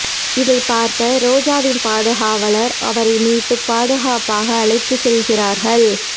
இதை பார்த்த ரோஜாவின் பாதுகாவலர் அவரை மீட்டு பாதுகாப்பாக அழைத்து சென்றார்கள்